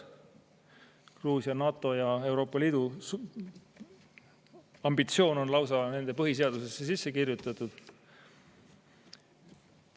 Gruusia NATO- ja Euroopa Liidu ambitsioon on lausa nende põhiseadusesse sisse kirjutatud.